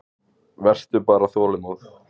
Vertu bara þolinmóð.